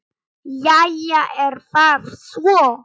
Jæja, er það svo?